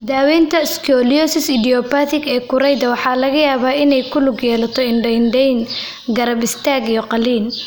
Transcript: Daawaynta scoliosis idiopathic ee kurayda waxa laga yaabaa inay ku lug yeelato indho-indhayn, garab istaag iyo qaliin.